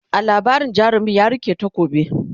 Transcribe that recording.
a labarin jarumin ya rike takobi